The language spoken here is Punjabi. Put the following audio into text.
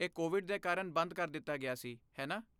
ਇਹ ਕੋਵਿਡ ਦੇ ਕਾਰਨ ਬੰਦ ਕਰ ਦਿੱਤਾ ਗਿਆ ਸੀ, ਹੈ ਨਾ?